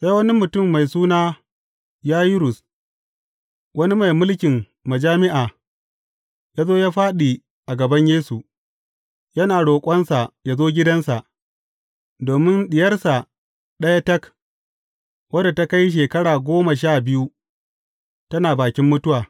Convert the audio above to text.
Sai wani mutum mai suna Yayirus, wani mai mulkin majami’a, ya zo ya fāɗi a gaban Yesu, yana roƙonsa ya zo gidansa, domin diyarsa ɗaya tak, wadda ta kai shekara goma sha biyu, tana bakin mutuwa.